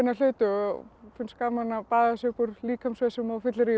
hluti og finnst gaman að baða sig upp úr líkamsvessum á fylleríum